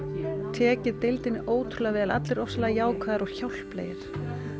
tekið deildinni ótrúlega vel allir rosalega jákvæðir og hjálplegir